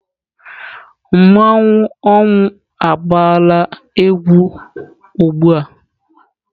Mmanwụ ọnwụ agbaala egwu ugbua?